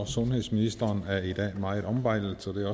sundhedsministeren er i dag meget ombejlet så det